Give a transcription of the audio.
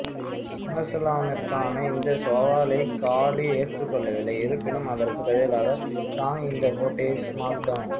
சம்மர்ஸ்லாமிற்கான இந்த சவாலை காளி ஏற்றுக்கொள்ளவில்லை இருப்பினும் அதற்குப் பதிலாக லாங் இந்தப் போட்டியை ஸ்மாக்டவுன்